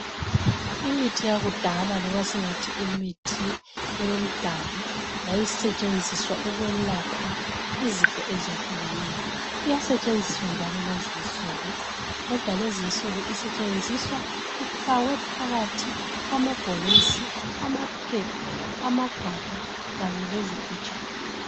Imithi yakudala loba singathi imithi yomdabu yayisetshenziswa ukwelapha izifo ezehlukeneyo iyasetshenziswa njalo lezi nsuku kodwa lezinsuku isetshenziswa ifakwe phakathi kwamabhokisi amaphepha amagabha kanye lezigujana.